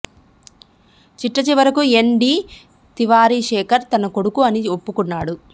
చిట్టచివరకు N D Tiwari Shekhar తన కొడుకు అని ఒప్పుకొన్నాడు